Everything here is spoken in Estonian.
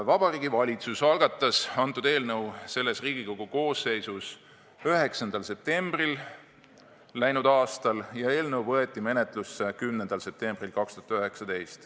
Vabariigi Valitsus algatas eelnõu selles Riigikogu koosseisus 9. septembril läinud aastal ja eelnõu võeti menetlusse 10. septembril.